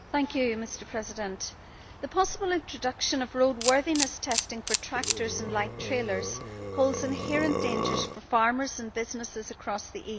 Mr President, the possible introduction of roadworthiness testing for tractors and light trailers holds inherent dangers for farmers and businesses across the EU.